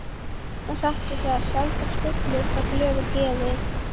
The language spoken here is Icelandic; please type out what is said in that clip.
En satt er það, sjaldan spillir það glöðu geði.